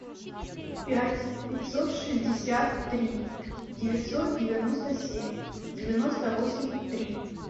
пять пятьсот шестьдесят три девятьсот девяносто семь девяносто восемь три